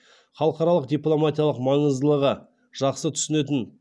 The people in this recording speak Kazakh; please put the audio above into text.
халықаралық дипломатияның маңыздылығы жақсы түсінетін